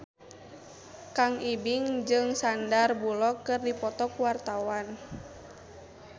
Kang Ibing jeung Sandar Bullock keur dipoto ku wartawan